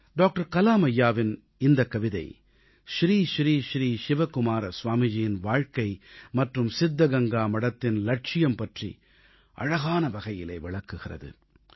doctor Kalam ஐயாவின் இந்தக் கவிதை ஸ்ரீ ஸ்ரீ ஸ்ரீ சிவகுமார ஸ்வாமிஜியின் வாழ்க்கை மற்றும் சித்தகங்கா மடத்தின் இலட்சியம் பற்றி அழகான வகையிலே விளக்குகிறது